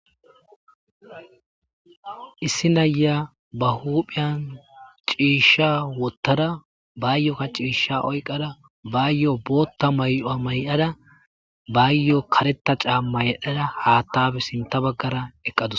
Izsi naya ba huphan ciisha wothada bayokka cisha oykadabayoka bootha maya mayada bayo karetha caama yedhada hathape sintha bagara eqadus